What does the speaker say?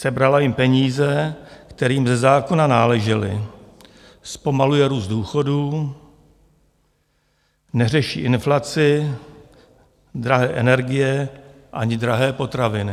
Sebrala jim peníze, které jim ze zákona náležely, zpomaluje růst důchodů, neřeší inflaci, drahé energie ani drahé potraviny.